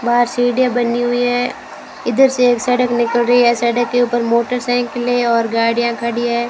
बाहर सीढ़ियां बनी हुई है इधर से एक सड़क निकल रही है सड़क के ऊपर मोटरसाइकिलें और गाड़ियां खड़ी हैं।